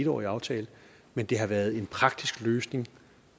årig aftale men det har været en praktisk løsning